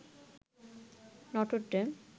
Notre Dame